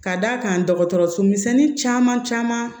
Ka d'a kan dɔgɔtɔrɔso misɛnnin caman caman